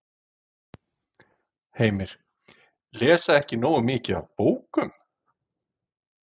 Heimir: Lesa ekki nógu mikið af bókum?